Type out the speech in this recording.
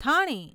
Thane